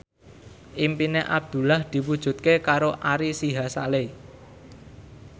impine Abdullah diwujudke karo Ari Sihasale